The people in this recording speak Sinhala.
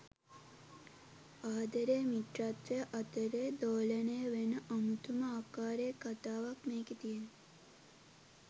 ආදරය මිත්‍රත්වය අතරේ දෝලනය වෙන අමුතුම ආකාරයේ කතාවක් මේකේ තියෙන්නේ.